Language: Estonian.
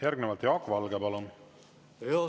Järgnevalt Jaak Valge, palun!